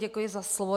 Děkuji za slovo.